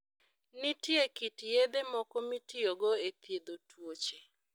Nitie kit yedhe moko mitiyogo e thiedho tuoche.